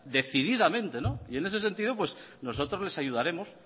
decididamente y en ese sentido pues nosotros les ayudaremos